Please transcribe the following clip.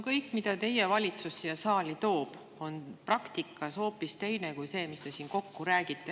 Kõik, mida teie valitsus siia saali toob, on praktikas hoopis teine kui see, mis te siin kokku räägite.